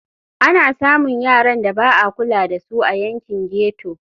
Ana samun yaran da ba a kula da su a yankin ghetto.